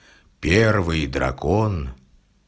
первый дракон